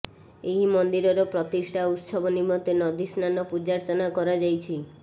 ଏହି ମନ୍ଦିରର ପ୍ରତିଷ୍ଠା ଉତ୍ସବ ନିମନ୍ତେ ନଦୀସ୍ନାନ ପୂଜାର୍ଚ୍ଚନା କରାଯାଇଛି